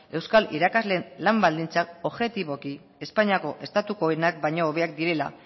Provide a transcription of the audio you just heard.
euskal irakasleen lan baldintzak objetiboki espainiako estatukoenak baino hobeak direla